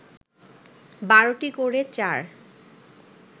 ১২টি করে চার